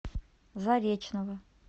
заречного